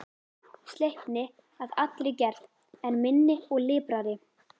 Sleipni að allri gerð, en minni og liprari.